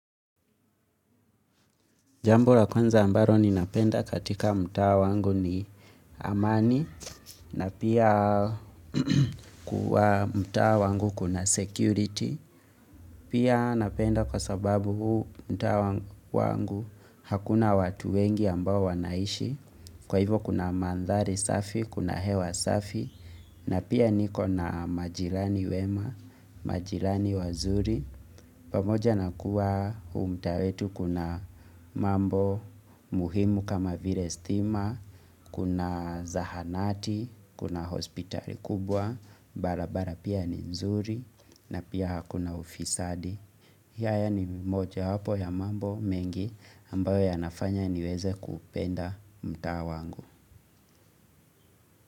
Jambo la kwanza ambalo ninapenda katika mtaa wangu ni amani na pia kwa mtaa wangu kuna security. Pia napenda kwa sababu huu mtaa wangu hakuna watu wengi ambao wanaishi. Kwa hivo kuna mandhari safi, kuna hewa safi na pia niko na majirani wema, majirani wazuri. Pamoja na kuwa huu mtaa wetu kuna mambo muhimu kama vile stima, kuna zahanati, kuna hospitali kubwa, barabara pia ni nzuri na pia hakuna ufisadi. Haya ni moja wapo ya mambo mengi ambayo yanafanya niweze kupenda mtaa wangu.